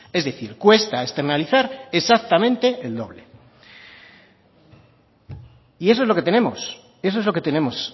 es decir cuesta externalizar exactamente el doble y eso es lo que tenemos eso es lo que tenemos